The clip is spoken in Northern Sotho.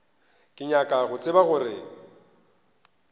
ke nyaka go tseba gore